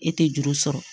E tɛ juru sɔrɔ